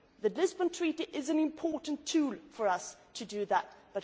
that. The Lisbon Treaty is an important tool for us to do